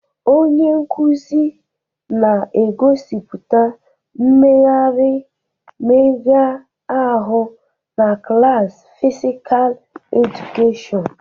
Onye nkuzi na-egosipụta mmegharị mmega ahụ na klaasị Physical Education